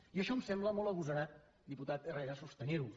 i això em sembla molt agosarat diputat herrera sostenir ho